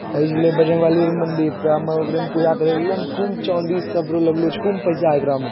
एजेले बजरंगबली के मन्दिर से हमे ओकरे में पूजा करे ले एलिये ने खूब चांदी सब लगलो छै खूब पैसा एकरा में।